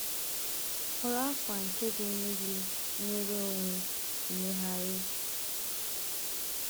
Họrọ akwa nke na-enye gị nnwere onwe ịmegharị.